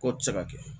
Ko tɛ se ka kɛ